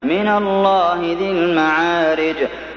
مِّنَ اللَّهِ ذِي الْمَعَارِجِ